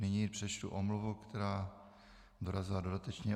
Nyní přečtu omluvu, která dorazila dodatečně.